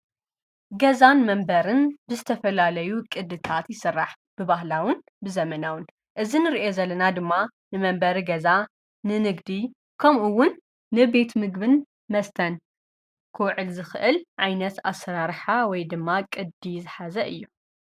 ገዛን መንበርን ብዝተፈላለዩ ቕድታት ይስራሕ ብባህላውን ብዘመናውን እዚ ንሪኦ ዘለና ድማ ንመንበሪ ገዛ ፣ንንግዲ ከምኡውን ንቤት ምግብን መስተን ክውዕል ዝኽእል ዓይነት ኣሰራርሓ ወይ ድማ ቅዲ ዝሓዘ እዩ፡፡